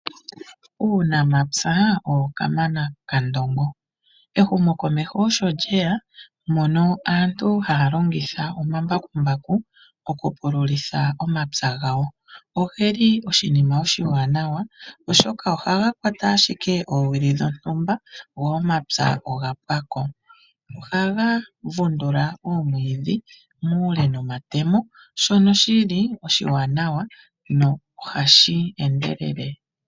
Uunamapya owo kamana kandongo. Ehumo komeho osho lyeya mono aantu haya longitha omambakumbaku oku pu lulitha omapya gawo, ogeli oshinima oshiwanawa oshoka oha ga kwata ashike oowili dhontumba go omapya oga pwako. Oha ga vundula oomwidhi muule noma temo shono shili oshiwanawa nohashi endelele.